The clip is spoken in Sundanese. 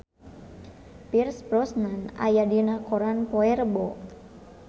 Pierce Brosnan aya dina koran poe Rebo